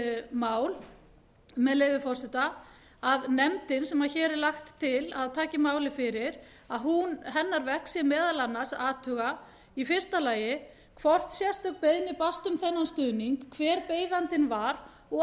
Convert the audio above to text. mál með leyfi forseta að nefndin sem hér er lagt til að taki að málið fyrir að hennar verk sé meðal annars að athuga a hvort sérstök beiðni barst um þennan stuðning hver beiðandinn var og